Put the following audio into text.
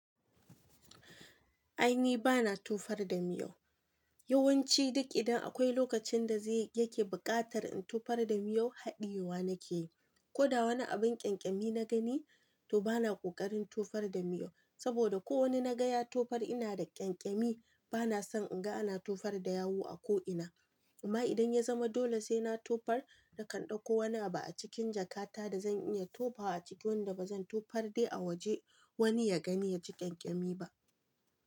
Ai ni bana tofar da miyau. Yawanci duk idan akwai lokacin da yake buƙatar in tofar da miyau haɗiyewa nake yi. Ko da wani abin ƙyanƙyami na gani, to bana ƙoƙarin tofar da miyau. Saboda ko wani na ga ya tofar ina da ƙyankyami bana son in ga ana tofar da yawu a ko ina. Amma idan ya zama dole sai na tofar, nakan ɗauko wani abu a cikin jakata da zan iya tofawa cikin wanda ba zan tofar dai a waje wani ya gani ya ji ƙyanƙyami ba.